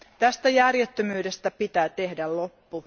Tästä järjettömyydestä pitää tehdä loppu.